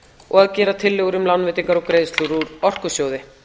og að gera tillögur um lánveitingar og greiðslur úr orkusjóði